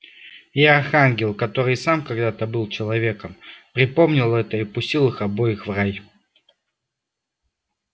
и архангел который и сам когда-то был человеком припомнил это и пустил их обоих в рай